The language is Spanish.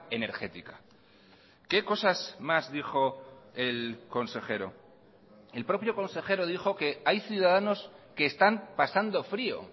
energética qué cosas más dijo el consejero el propio consejero dijo que hay ciudadanos que están pasando frío